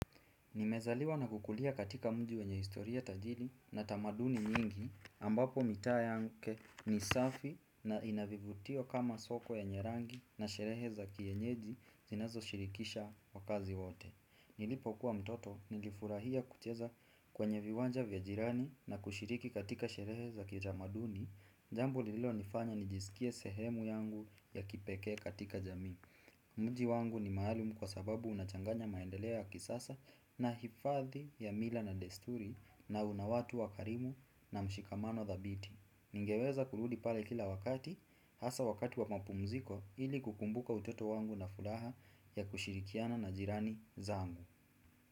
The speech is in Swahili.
Nimezaliwa na kukulia katika mji wenye historia tajiri na tamaduni nyingi ambapo mitaa yake ni safi na ina vivutio kama soko yenye rangi na sherehe za kienyeji zinazo shirikisha wakazi wote. Nilipokuwa mtoto nilifurahia kucheza kwenye viwanja vya jirani na kushiriki katika sherehe za kitamaduni, jambo lilonifanya nijisikie sehemu yangu ya kipekee katika jami. Mji wangu ni maalum kwa sababu unachanganya maendelea ya kisasa na hifadhi ya mila na desturi na una watu wakarimu na mshikamano thabiti. Ningeweza kurudi pale kila wakati hasa wakati wa mapumziko ili kukumbuka utoto wangu na furaha ya kushirikiana na jirani zaangu.